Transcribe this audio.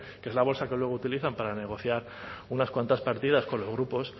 que es la bolsa que luego utilizan para negociar unas cuantas partidas con los grupos